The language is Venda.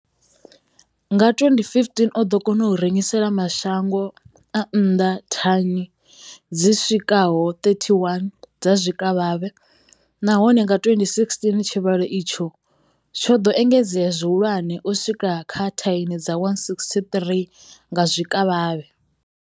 Nga 2015, o ḓo kona u rengisela mashango a nnḓa thani dzi swikaho 31 dza zwikavhavhe, nahone nga 2016 tshivhalo itshi tsho ḓo engedzea zwihulwane u swika kha thani dza 168 dza zwikavhavhe.